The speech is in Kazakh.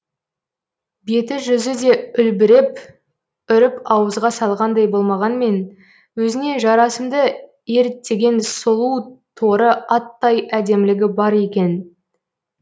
бет жүзі де үлбіреп үріп ауызға салғандай болмағанмен өзіне жарасымды ерттеген сұлу торы аттай әдемілігі бар екен